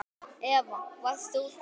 Eva: Varst þú hrædd?